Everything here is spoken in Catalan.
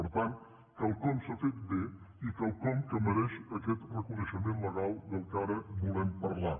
per tant quelcom s’ha fet bé i quelcom que mereix aquest reconeixement legal del que ara volem parlar